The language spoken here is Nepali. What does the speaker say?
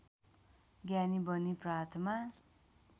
ज्ञानी बनी प्रातमा